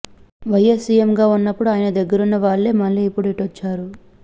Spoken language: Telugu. వైఎస్ సీఎంగా ఉన్నప్పుడు ఆయన దగ్గరున్న వాళ్లే మళ్లీ ఇప్పుడు ఇటొచ్చారు